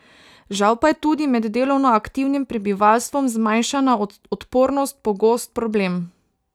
Žal pa je tudi med delovno aktivnim prebivalstvom zmanjšana odpornost pogost problem.